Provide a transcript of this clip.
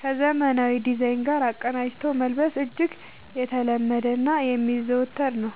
ከዘመናዊ ዲዛይን ጋር አቀናጅቶ መልበስ እጅግ የተለመደና የሚዘወተር ነው።